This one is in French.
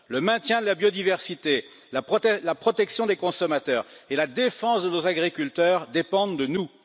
Le maintien de la biodiversité, la protection des consommateurs et la défense de nos agriculteurs dépendent de nous.